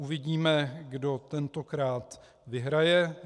Uvidíme, kdo tentokrát vyhraje.